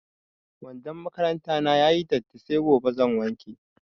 Wandon makaranta na ya yi datti sai gobe zan wanke.